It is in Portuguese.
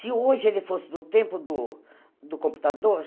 Se hoje ele fosse no tempo do computador,